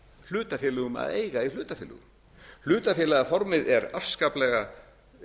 hlutafélögum að eiga í hlutafélögum hlutafélagaformið er afskaplega